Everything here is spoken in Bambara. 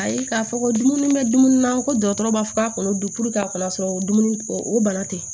Ayi k'a fɔ ko dumuni bɛ dumuni na ko dɔgɔtɔrɔ b'a fɔ k'a kɔnɔ don a kana sɔrɔ dumuni o bana tɛ